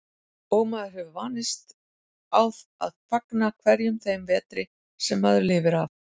Og maður hefur vanist á að fagna hverjum þeim vetri sem maður lifir af.